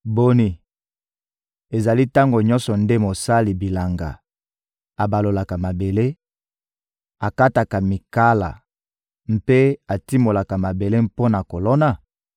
Boni, ezali tango nyonso nde mosali bilanga abalolaka mabele, akataka mikala mpe atimolaka mabele mpo na kolona?